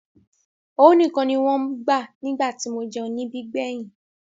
Owó nìkan ni wọ́n ń gbà nígbà tí mo jẹun níbí gbẹ̀yìn.